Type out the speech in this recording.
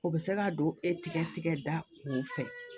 O bɛ se ka don e tigɛ da kun fɛ